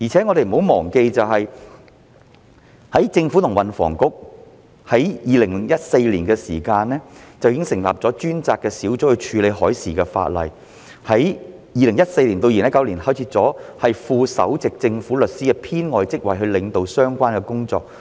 我們亦不要忘記，運輸及房屋局在2014年已成立專責小組處理海事法例，在2014年至2019年間開設了副首席政府律師的編外職位以領導相關工作。